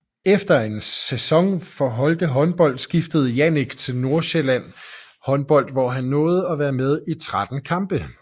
Efter en sæson for Holte Håndbold skiftede Jannick til Nordjsælland Håndbold hvor han nåede at være med i 13 kampe